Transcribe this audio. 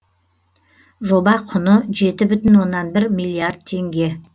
жоба құны жеті бүтін оннан бір миллиард теңге